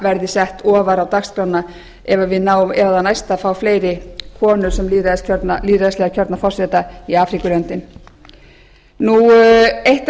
verði sett ofar á dagskrána ef það næst að fá fleiri konur sem lýðræðislega kjörna forseta í afríkulöndum eitt